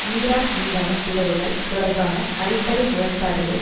Iraq மீதான பிளவுகள் தொடர்பான அடிப்படை முரண்பாடுகள்